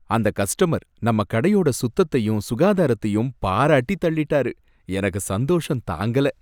அந்த கஸ்டமர் நம்ம கடையோட சுத்தத்தையும் சுகாதாரத்தையும் பாராட்டி தள்ளிட்டாரு, எனக்கு சந்தோஷம் தாங்கல!